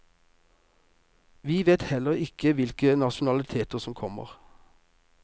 Vi vet heller ikke hvilke nasjonaliteter som kommer.